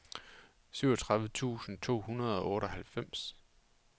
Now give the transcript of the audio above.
syvogtredive tusind to hundrede og otteoghalvfems